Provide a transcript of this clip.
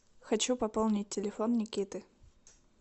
хочу пополнить телефон никиты